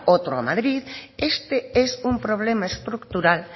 otro a madrid este es un problema estructural